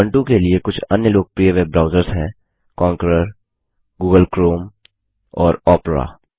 Ubuntu के लिए कुछ अन्य लोकप्रिय वेब ब्राउज़र्स हैं कॉन्करर गूगल क्रोम और ओपेरा